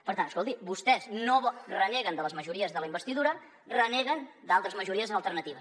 per tant escolti vostès reneguen de les majories de la investidura reneguen d’altres majories alternatives